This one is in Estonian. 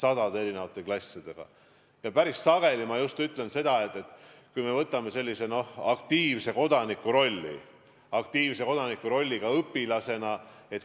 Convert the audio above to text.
Ja ma kinnitan, et päris sageli võetakse sellise aktiivse kodaniku roll ka õpilasena.